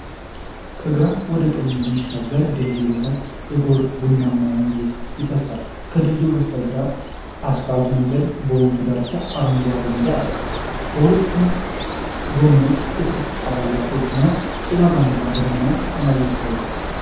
ከግራ ወደ ቀኝ የሚሻገር ድልድይ በታች የጎርፍ ቡናማ ወንዝ ይፈሳል:: ከድልድዩ በስተግራ አስፋልት መንገድና በወንዙ ዳርቻ አረንጓዴ ሜዳ አለ:: በሁለቱም ጎኖች ጥቅጥቅ ያሉ ዛፎች እና ጭጋጋማ ደመናማ ሰማይ ይታያሉ::